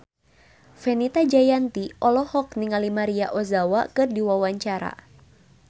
Fenita Jayanti olohok ningali Maria Ozawa keur diwawancara